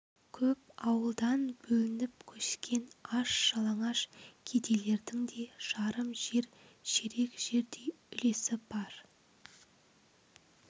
көп ауылдан бөлініп көшкен аш-жалаңаш кедейлердің де жарым жер ширек жердей үлесі бар